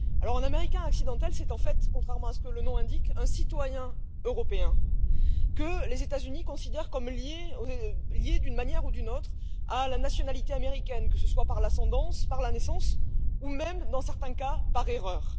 Un Américain accidentel, c'est en fait, contrairement à ce que le nom indique, un citoyen européen que les États Unis considèrent comme lié d'une manière ou d'une autre à la nationalité américaine, que ce soit par l'ascendance, par la naissance ou même, dans certains cas, par erreur.